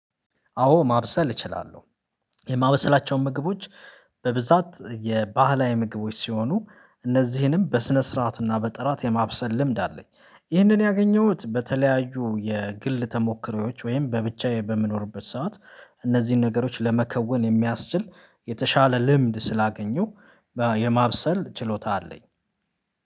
አዎ ማብሰል እችላለሁ። የማበሰላቸውን ምግቦች በብዛት የባህላዊ ምግቦች ሲሆኑ እነዚህንም በስነ ስርዓት እና በጥራት የማብሰል ልምድ አለኝ። ይህንን ያገኘሁት በተለያዩ የግል ተሞክሮዎች ወይም በብቻዬ በምኖርበት ሰዓት እነዚህን ነገሮች ለመከወን የሚያስችል የተሻለ ልምድ ስላገኘሁ የማብሰል ችሎታ አለኝ።